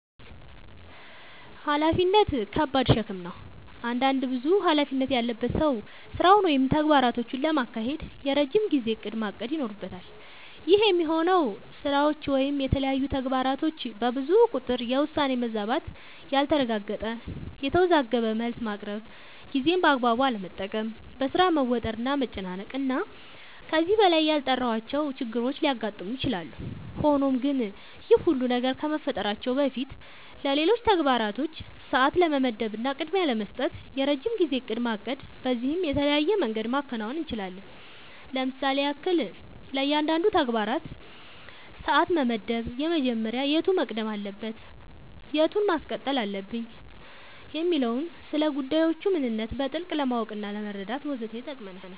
ኃላፊነት ከባድ ሸክም ነው። አንድ ብዙ ኃላፊነት ያለበት ሰው ስራውን ወይም ተግባራቶቹን ለማካሄድ የረጅም ጊዜ እቅድ ማቀድ ይኖርበታል። ይህ የሚሆነው ስራዎች ወይም የተለያዩ ተግባራቶች በብዙ ቁጥር የውሳኔ መዛባት ያልተረጋገጠ፣ የተወዘጋገበ መልስ ማቅረብ፣ ጊዜን በአግባቡ አለመጠቀም፣ በሥራ መወጠር እና መጨናነቅ እና ከዚህ በላይ ያልጠራሁዋቸው ችግሮች ሊያጋጥሙ ይችላሉ። ሆኖም ግን ይህ ሁሉ ነገር ከመፈጠራቸው በፊትለሌሎች ተግባራቶች ሰዓት ለመመደብ እና ቅድሚያ ለመስጠት የረጅም ጊዜ እቅድ ማቀድ በዚህም በተለያየ መንገድ ማከናወን እንችላለኝ ለምሳሌም ያክል፦ ለእያንዳንዱ ተግባራችን ሰዓት መመደብ መጀመሪያ የቱ መቅደም አለበት የቱን ማስቀጠል አለብኝ የሚለውን፣ ስለጉዳዮቹ ምንነት በጥልቀት ለማወቅናለመረዳት ወዘተ ይጠቅመናል።